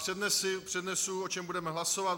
Přednesu, o čem budeme hlasovat.